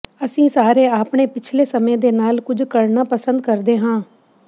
ਅਸੀਂ ਸਾਰੇ ਆਪਣੇ ਪਿਛਲੇ ਸਮੇਂ ਦੇ ਨਾਲ ਕੁਝ ਕਰਨਾ ਪਸੰਦ ਕਰਦੇ ਹਾਂ